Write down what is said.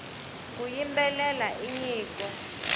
ku yimbelela i nyiko